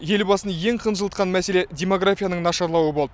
елбасын ең қынжылтқан мәселе демографияның нашарлауы болды